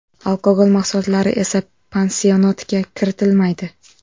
Alkogol mahsulotlari esa pansionatga kiritilmaydi.